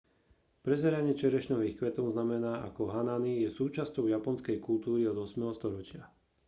prezeranie čerešňových kvetov známe ako hanami je súčasťou japonskej kultúry od 8. storočia